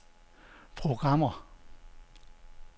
programmer